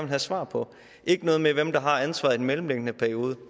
have svar på ikke noget med hvem der har ansvaret i den mellemliggende periode